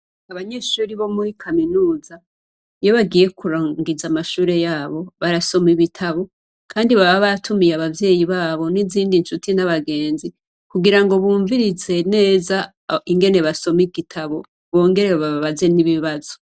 Abanyeshuri bo muri kaminuza, iyo bagiye kurangiza amashure yabo, barasoma ibitabo, kandi baba batumiye abavyeyi babo, n' izindi ncuti n' abagenzi, kugirango bumvirize neza ingene basoma igitabo bongere bababaze n' ibibazo .